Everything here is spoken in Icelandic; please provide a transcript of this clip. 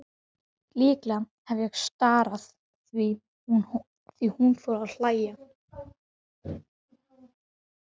Líklega hef ég starað því hún fór að hlæja.